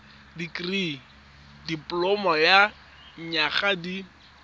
dikirii dipoloma ya dinyaga di